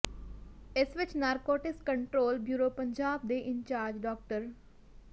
ਇਸ ਵਿੱਚ narcotics control bureau Punjab ਦੇ ਇੰਚਾਰਜ ਡਾ